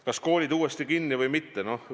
Kas koolid uuesti kinni või mitte?